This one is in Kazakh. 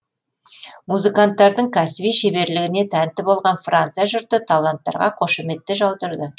музыканттардың кәсіби шеберлігіне тәнті болған франция жұрты таланттарға қошеметті жаудырды